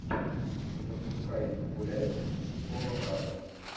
запускай гуляй с полом раддом